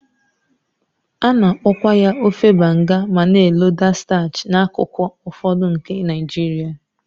A na-akpọkwa ya ofe Banga ma na-eloda starch n'akụkụ ụfọdụ nke Naijiria.